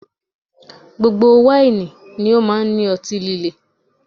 Gbogbo wáìnì ni ó máa ń ní ọtí líle